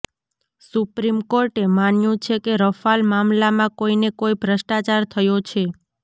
supreme કોર્ટે માન્યું છે કે રફાલ મામલામાં કોઈને કોઈ ભ્રષ્ટાચાર થયો છે